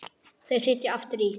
Þau sitja aftur í.